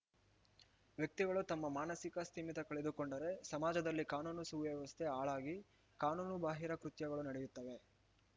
ವ್ಯಕ್ತಿಗಳು ತಮ್ಮ ಮಾನಸಿಕ ಸ್ಥಿಮಿತ ಕಳೆದುಕೊಂಡರೆ ಸಮಾಜದಲ್ಲಿ ಕಾನೂನು ಸುವ್ಯವಸ್ಥೆ ಹಾಳಾಗಿ ಕಾನೂನು ಬಾಹಿರ ಕೃತ್ಯಗಳು ನಡೆಯತ್ತದೆ